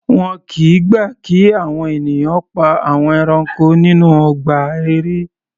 Wọn kìí gbà kí àwọn ènìyàn pa àwọn ẹranko nínú ọgbà eré.